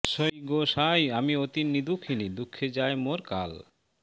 সই গো সাঁই আমি অতি নিদুখিনী দুঃখে যায় মোর কাল